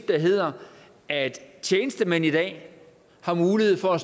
der hedder at tjenestemænd i dag har mulighed for at